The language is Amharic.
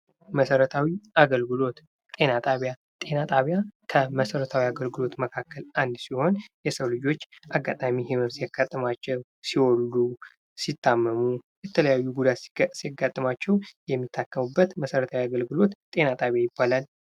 መሰረታዊ አገልግሎት ጤና ጣቢያ ጤና ጣቢያ ከመሰረተ አገልግሎት መካከል አንዱ ሲሆን የሰው ልጆች አጋጣሚ ህመም ሲያጋጥማቸው፣ ሲወልዱ፣ ሲታመሙ የተለያዩ ጉዳት ሲያጋጥማቸው የሚታከሙበት መሰረታዊ የአገልግሎት ጤና ጣቢያ ይባላል።